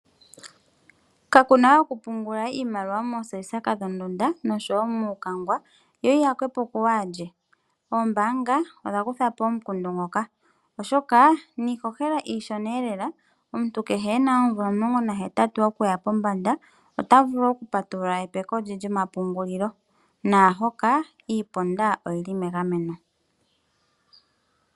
Ka kunawe oku pungula iimaliwa moombuli dhondunda nenge muukangwa yo yi yakwepo ku waalye. Oombaanga odhakutha po omukundu ngoka niishoshela iishona lela .Omuntu kehe ena oomvula omulongo nahetatu okuya pombanda ota vulu okupatulula epeko lye lyomapungulilo naahoka iiponda oyili megameno.